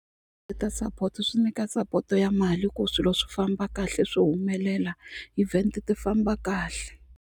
support swi nyika support ya mali ku swilo swi famba kahle swi humelela event ti famba kahle.